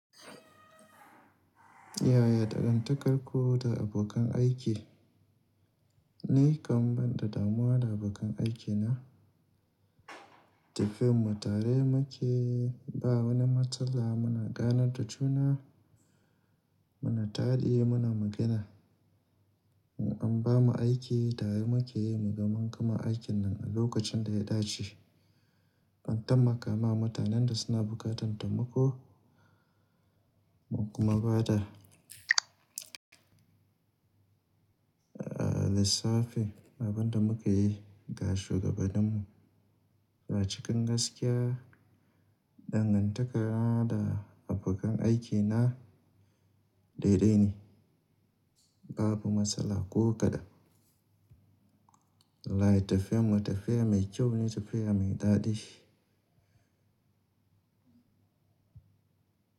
Yaya dangantakarku da abokan aiki? Ni kan banda damuwa da abokan aikina. Tafiyan mu tare muke, ba wani matsala muna ganar da juna, muna taɗi muna magana. In an bamu aiki tare muke yi mu gama kuma aikin nan a lokacin da ya dace. An tammaka ma mutanen da suna buƙatar taimako mun kuma ba da lissafi. Abin da muka yi ga shugabaninmu ba cikin gaskiya dangantaka da abokan aiki na dai dai ne, babu matsala ko kaɗan. Wallahi tafiyar mu tafiya mai kyau ne tafiya mai daɗi.